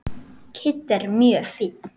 Kiddi er mjög fínn.